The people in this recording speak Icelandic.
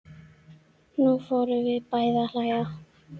Nú förum við bæði að hlæja.